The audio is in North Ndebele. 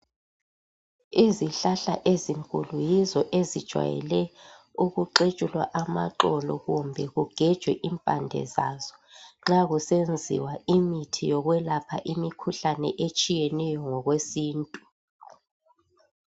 Izihlahla ezinkulu yizo ezijwayele ukuxetshulwa amaxolo kumbe kugejwe impande zazo nxa kusenziwa imithi yokwelapha imikhuhlane etshiyeneyo ngokwesintu